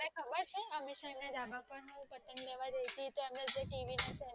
તને ખબર છે અમીષા ના ધાભ પર હું પતંગ લેવા જ્યંતી હતી